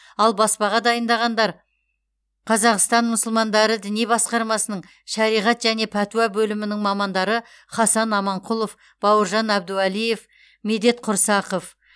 ал баспаға дайындағандар қазақстан мұсылмандары діни басқармасының шариғат және пәтуа бөлімінің мамандары хасан аманқұлов бауыржан әбдуалиев медет құрсақов